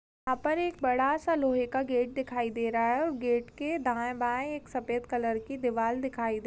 यहाँ पर एक बड़ा सा लोहे का गेट दिखाई दे रहा है और गेट के दाएं-बाएं एक सफेद कलर की दीवाल दिखाई दे--